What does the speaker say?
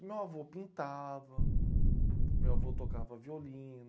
Meu avô pintava, meu avô tocava violino.